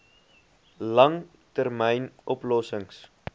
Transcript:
lang termyn oplossings